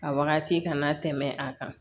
A wagati kana tɛmɛ a kan